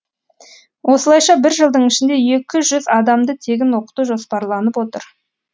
осылайша бір жылдың ішінде екі жүз адамды тегін оқыту жоспарланып отыр